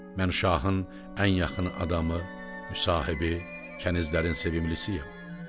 Mən şahın ən yaxını adamı, müsahibi, kənizlərin sevimlisiyəm.